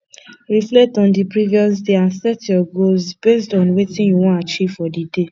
reflect on di previous day and set your goals based on wetin you wan achieve for di day